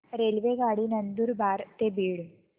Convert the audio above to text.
रेल्वेगाडी नंदुरबार ते बीड